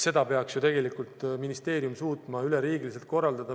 Seda peaks ju tegelikult ministeerium suutma üleriigiliselt korraldada.